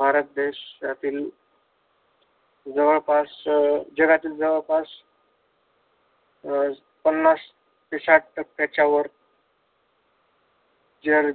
भारत देशातील जवळपास जगातील जवळपास पन्नास ते साठ टक्या पेक्षा वर